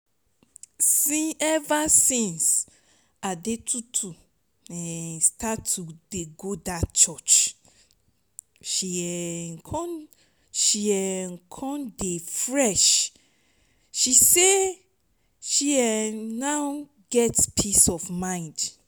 ever since adetutu start dey go dat church she um come she um come dey fresh she say she um now get peace of mind